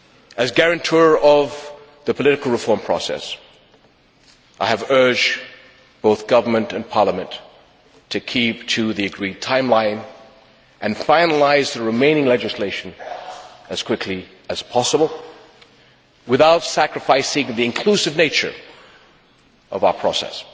As guarantor of the political reform process, I have urged both government and parliament to keep to the agreed timeline and finalise the remaining legislation as quickly as possible, without sacrificing the inclusive nature of our process.